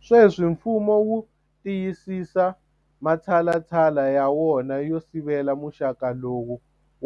Sweswi mfumo wu tiyisisa matshalatshala ya wona yo sivela muxaka lowu